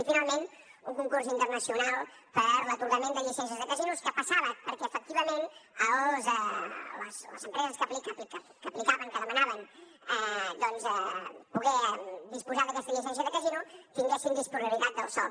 i finalment un concurs internacional per a l’atorgament de llicències de casinos que passava perquè efectivament les empreses que aplicaven que demanaven doncs poder disposar d’aquesta llicència de casino tinguessin disponibilitat del sòl